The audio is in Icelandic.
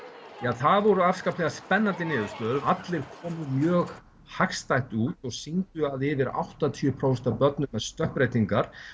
það voru afskaplega spennandi niðurstöður allir komu mjög hagstætt út og sýndu að yfir áttatíu prósent af börnum með stökkbreytingar